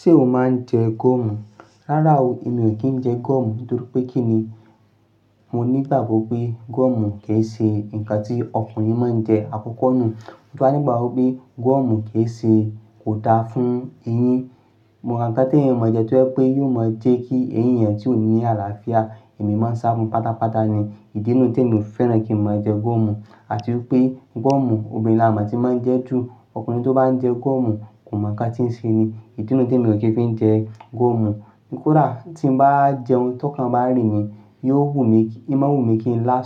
Ṣé o máa ń jẹ goọ́mù? Rárá o, èmi ò kí ń jẹ goọ́mù nítorí pé kí ni, mo nígbàgbo pé goọ́mù kì í ṣe nkan tí ọkùnrin má ń jẹ, àkọ́kọ́ nù. Mo tun wa nígbàgbo pé goọ́mù kì í ṣe, kò daa fún eyín. Gbogbo nkan tí èèyàn máa jẹ ẹ́ tó jẹ́ pé yóò máa jẹ́ kí eyín yan tí ò ní àlàáfíà, èémí máa ń ṣá fún pátápátá ni, ìdí nù tí èmi ò fẹ́ràn kí n máa jẹ gúọ́mù. Àti wípé gúọ́mù obìnrin la máa ti máa ń jẹ ju, ọkùnrin tó bá ń jẹ gúọ́mù kò mọ nǹkan tí ń ṣe ni, ìdí nù tí èmi ò kí n fi jẹ gúọ́mù. Koda tí mo bá jẹun ti okan bá n rín mi, yóò wù mí, imo wù mí kí n lá